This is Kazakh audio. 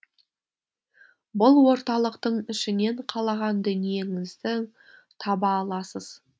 бұл орталықтың ішінен қалаған дүниеңіздің таба аласыз